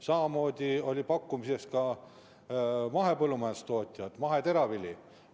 Samamoodi olid pakutud mahepõllumajandustooted, maheteravili.